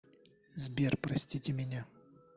сбер простите меня